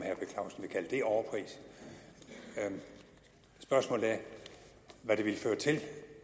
jeg overpris spørgsmålet er hvad det ville føre til